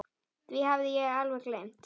Því hafði ég alveg gleymt.